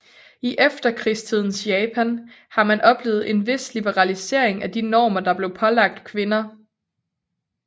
I efterkrigstidens Japan har man oplevet en vis liberalisering af de normer der blev pålagt kvinder